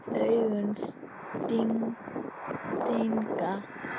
Augun stinga.